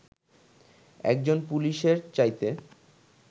একজন পুলিশের চাইতে